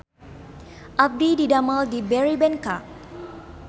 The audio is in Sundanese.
Abdi didamel di Berrybenka